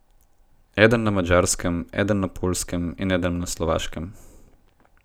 Eden na Madžarskem, eden na Poljskem in eden na Slovaškem.